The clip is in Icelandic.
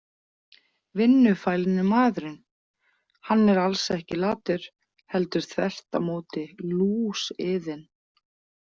Vinnufælni maðurinn Hann er alls ekki latur heldur þvert á móti lúsiðinn.